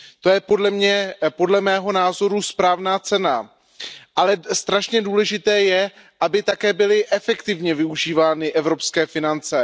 To je podle mého názoru správná cesta, ale strašně důležité je, aby také byly efektivně využívány evropské finance.